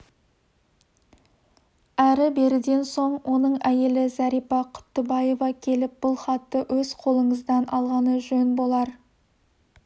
әрі-беріден соң оның әйелі зәрипа құттыбаева келіп бұл хатты өз қолыңыздан алғаны жөн болар